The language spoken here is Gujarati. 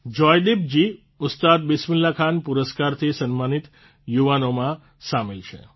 જોયદીપજી ઉસ્તાદ બિસ્મિલ્લાહખાન પુરસ્કારથી સન્માનિત યુવાનોમાં સામેલ છે